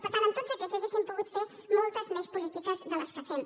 per tant amb tots aquests hauríem pogut fer moltes més polítiques de les que fem